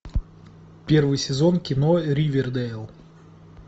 первый сезон кино ривердейл